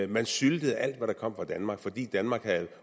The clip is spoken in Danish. man syltede alt hvad der kom fra danmark fordi danmark havde